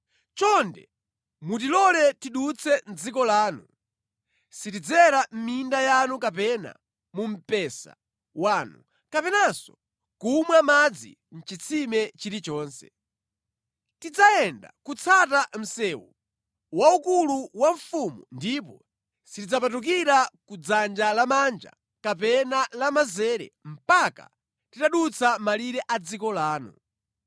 Chonde mutilole tidutse mʼdziko lanu. Sitidzera mʼminda yanu kapena mu mpesa wanu, kapenanso kumwa madzi mʼchitsime chilichonse. Tidzayenda kutsata msewu waukulu wa mfumu ndipo sitidzapatukira ku dzanja lamanja kapena lamanzere mpaka titadutsa malire a dziko lanu.”